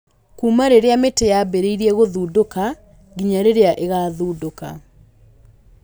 Kuuma rĩrĩa mĩtĩ yambĩrĩirie gũthundũka nginya rĩrĩa ĩgathundũka